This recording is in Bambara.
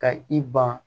Ka i ban